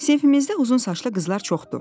Sinifimizdə uzun saçlı qızlar çoxdu.